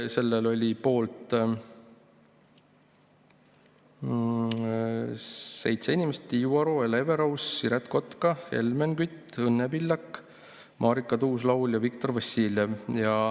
Selle poolt oli seitse inimest: Tiiu Aro, Hele Everaus, Siret Kotka, Helmen Kütt, Õnne Pillak, Marika Tuus-Laul ja Viktor Vassiljev.